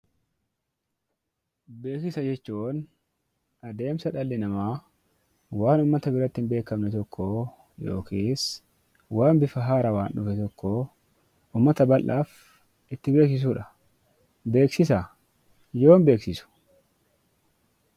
Beeksisa jechuun adeemsa dhalli namaa waan uummata biratti hin beekamne tokkoo yookis waan bifa haarawaan dhufe tokkoo uummata bal'aaf itti beeksisuudha. Beeksisa yoom beeksisu?